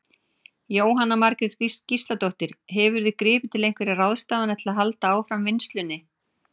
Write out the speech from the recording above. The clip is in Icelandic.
Jóhanna Margrét Gísladóttir: Hefurðu gripið til einhverja ráðstafana til að halda áfram vinnslunni?